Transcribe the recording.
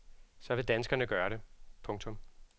Så vil danskerne gøre det. punktum